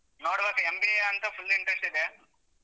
ನೋಡ್ಬೇಕು MBA ಅಂತ full interest ಇದೆ.